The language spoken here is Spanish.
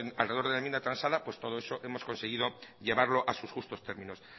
alrededor de la enmienda transada pues todo eso hemos conseguido llevarlo a sus justos términos